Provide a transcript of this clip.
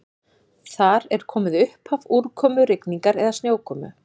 Þar er komið upphaf úrkomu, rigningar eða snjókomu.